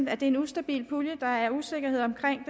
er en ustabil pulje at der er usikkerhed omkring